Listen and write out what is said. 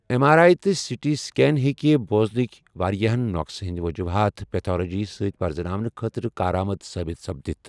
M R I تہٕ C T scan ہٮ۪کہِ بوٛزنٕکۍ واریاہَن نوقص ہندِ وجوُحات پیتھولجی سۭتۍ پَرٛزناؤنہٕ خٲطرٕ کارآمَد ثٲبِت سپدِتھ ۔